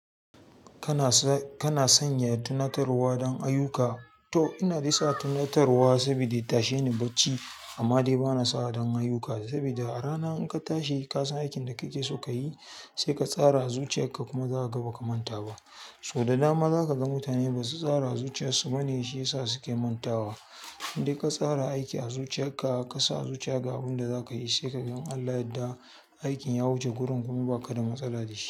Kana sanya tunatarwa don ayyuka. To ina nisa tunatarwa sabida ya ta she ni bacci, amma dai bana sa don ayyuka saboda a rana in ka tashi kasan aikin da kake so ka yi sai ka tsara a zuciya ka kuma za ka gaba ka manta ba. So da dama za ka ga mutane basu tsara a zuciya su bane shi yasa suke mantawa. In ka tsara aiki a zuciya ka ka sa a zuciya ga abin da za ka yi sai ka gan Allah yadda aikin ya wuce gurin kuma ba ka da matsala da shi.